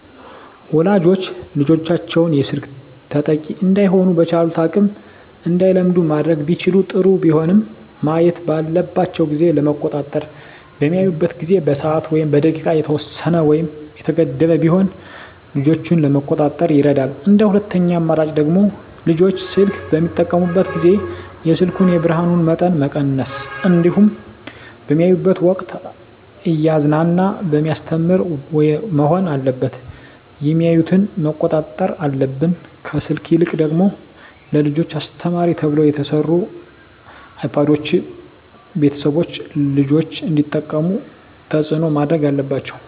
ወላጆች ልጆቻቸውን የስልክ ተጠቂ እዳይሆኑ በቻሉት አቅም እንዳይለምዱ ማድረግ ቢችሉ ጥሩ ቢሆንም ማየት ባለባቸው ጊዜ ለመቆጣጠር በሚያዩበት ጊዜ በሰዓት ወይም በደቂቃ የተወሰነ ወይም የተገደበ ቢሆን ልጆችን ለመቆጣጠር ይረዳል እንደ ሁለተኛ አማራጭ ደግሞ ልጆች ስልክ በሚጠቀሙበት ጊዜ የስልኩን የብርሀኑን መጠን መቀነስ እንዲሁም በሚያዩበት ወቅትም እያዝናና በሚያስተምር መሆን አለበት የሚያዮትን መቆጣጠር አለብን። ከስልክ ይልቅ ደግሞ ለልጆች አስተማሪ ተብለው የተሰሩ አይፓዶችን ቤተሰቦች ልጆች እንዲጠቀሙት ተፅዕኖ ማድረግ አለባቸው።